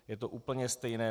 Je to úplně stejné.